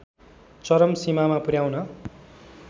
चरम सीमामा पुर्‍याउन